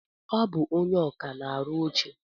Ọ bụ ónyé ọkà na-arụ oche.